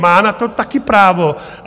Má na to taky právo.